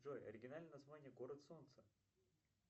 джой оригинальное название город солнца